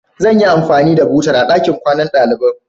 Zan yi anfani da butar a ɗakin kwanan ɗaliban.